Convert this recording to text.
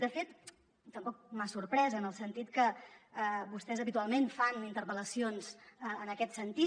de fet tampoc m’ha sorprès en el sentit que vostès habitualment fan interpel·lacions en aquest sentit